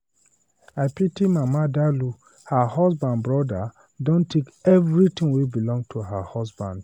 I pity Mama Dalụ, her husband brother Don take everything wey Belong to her husband.